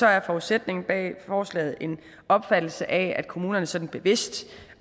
er forudsætningen bag forslaget en opfattelse af at kommunerne sådan bevidst